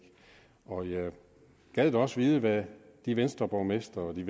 og jeg gad da også vide hvad de venstreborgmestre og de